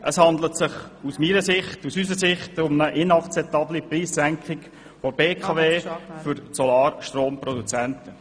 Es handelt sich um eine aus unserer Sicht inakzeptable Preissenkung der BKW zulasten der Solarstromproduzenten.